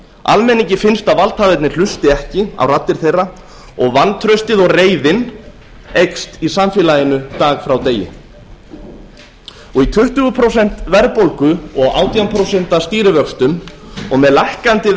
almenningi finnst að valdhafarnir hlusti ekki á raddir þeirra og vantraustið og reiðin eykst í samfélaginu dag frá degi í tuttugu prósent verðbólgu og átján prósent stýrivöxtum og með lækkandi